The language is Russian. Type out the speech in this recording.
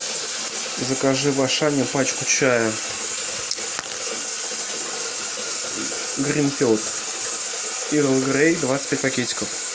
закажи в ашане пачку чая гринфилд эрл грей двадцать пять пакетиков